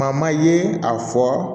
ye a fɔ